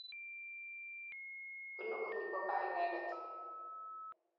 Punu olin po kaa inendet.